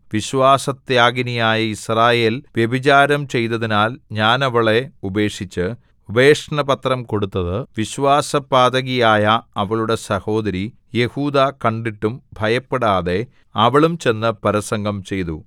വിശ്വാസത്യാഗിനിയായ യിസ്രായേൽ വ്യഭിചാരം ചെയ്തതിനാൽ ഞാൻ അവളെ ഉപേക്ഷിച്ച് ഉപേക്ഷണപത്രം കൊടുത്തത് വിശ്വാസപാതകിയായ അവളുടെ സഹോദരി യെഹൂദാ കണ്ടിട്ടും ഭയപ്പെടാതെ അവളും ചെന്ന് പരസംഗം ചെയ്തു